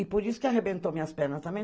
E por isso que arrebentou minhas pernas também.